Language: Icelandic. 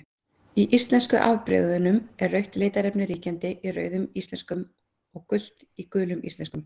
Í íslensku afbrigðunum er rautt litarefni ríkjandi í Rauðum íslenskum og gult í Gulum íslenskum.